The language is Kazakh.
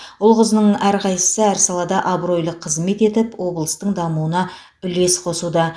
ұл қызының әрқайсысы әр салада абыройлы қызмет етіп облыстың дамуына үлес қосуда